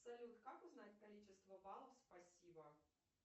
салют как узнать количество баллов спасибо